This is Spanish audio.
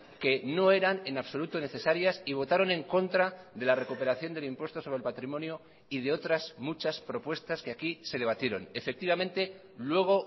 que no eran en absoluto necesarias y votaron en contra de la recuperación del impuesto sobre el patrimonio y de otras muchas propuestas que aquí se debatieron efectivamente luego